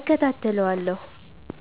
እከታተለዋለሁ።